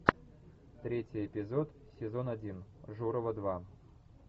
третий эпизод сезон один журова два